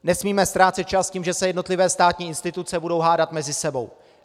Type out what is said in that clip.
Nesmíme ztrácet čas tím, že se jednotlivé státní instituce budou hádat mezi sebou.